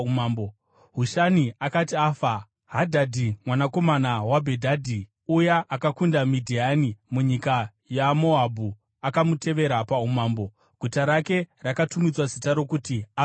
Hushani akati afa, Hadhadhi mwanakomana waBhedhadhi, uya akakunda Midhiani munyika yeMoabhu, akamutevera paumambo. Guta rake rakatumidzwa zita rokuti Avhiti.